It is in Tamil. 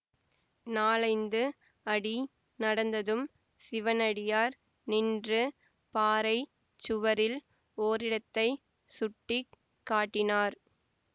நாலைந்து அடி நடந்ததும் சிவனடியார் நின்று பாறை சுவரில் ஓரிடத்தைச் சுட்டி காட்டினார்